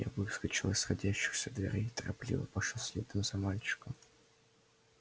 я выскочил из сходящихся дверей торопливо пошёл следом за мальчиком